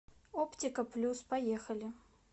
оптика плюс поехали